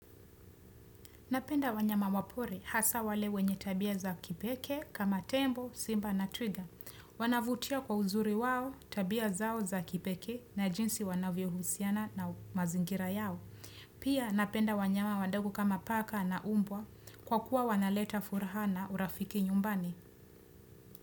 Napenda wanyama wa pori hasa wale wenye tabia za kipekee, kama tembo, simba na twiga. Wanavutia kwa uzuri wao tabia zao za kipekee na jinsi wanavyohusiana na mazingira yao. Pia napenda wanyama wadogo kama paka na umbwa kwa kuwa wanaleta furaha na urafiki nyumbani.